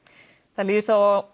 það líður